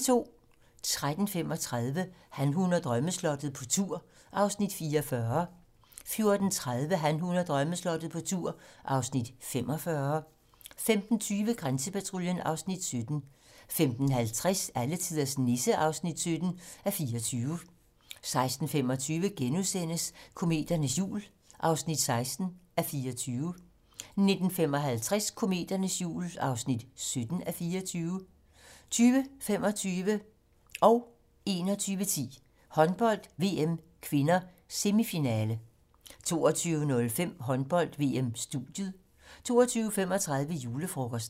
13:35: Han, hun og drømmeslottet - på tur (Afs. 44) 14:30: Han, hun og drømmeslottet - på tur (Afs. 45) 15:20: Grænsepatruljen (Afs. 17) 15:50: Alletiders Nisse (17:24) 16:25: Kometernes jul (16:24)* 19:55: Kometernes jul (17:24) 20:25: Håndbold: VM (k) - semifinale 21:10: Håndbold: VM (k) - semifinale 22:05: Håndbold: VM-studiet 22:35: Julefrokosten